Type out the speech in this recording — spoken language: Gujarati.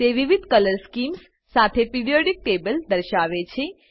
તે વિવિધ કલર સ્કીમ્સ સાથે પીરિયોડિક ટેબલ દર્શાવે છે